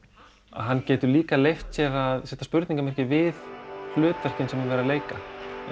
hann getur líka leyft sér að setja spurningarmerki við hlutverkin sem er verið að leika